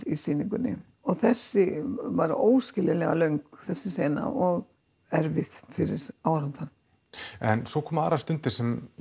í sýningunni og þessi var óskiljanlega löng þessi sena og erfið fyrir áhorfandann en svo komu aðrar stundir sem